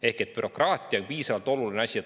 Ehk siis bürokraatia on piisavalt oluline asi.